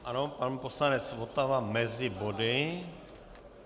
Ano, pan poslanec Votava mezi body.